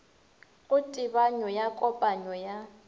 go tebanyo ya kopanyo ya